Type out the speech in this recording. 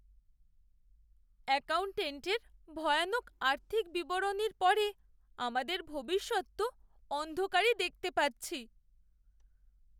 অ্যাকাউন্ট্যান্টের ভয়ানক আর্থিক বিবরণীর পরে আমাদের ভবিষ্যৎ তো অন্ধকারই দেখতে পাচ্ছি।